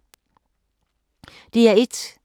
DR1